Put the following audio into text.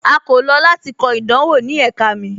A kò lọ lati kọ idanwọ ni ẹ̀kà mi.